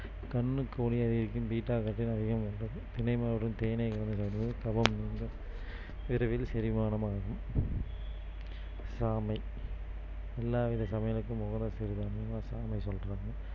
கண்ணுக்கு ஒளியை அதிகரிக்கும் beta carotene அதிகம் உள்ளது தினை மாவுடன் தேனை கபம் நீங்கும். விரைவில் செரிமானம் ஆகும் சாமை எல்லாவித சமையலுக்கும் உகந்த சிறுதானியமா சாமை சொல்றாங்க